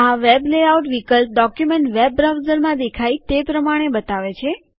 આ web layout વિકલ્પ document web બ્રાઉઝરમાં દેખાય તે પ્રમાણે બતાવે છે